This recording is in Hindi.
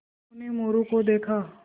उन्होंने मोरू को देखा